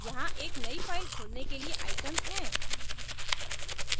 यहाँ एक new file खोलने के लिए icons हैं